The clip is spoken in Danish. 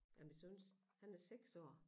Af min søns han er 6 år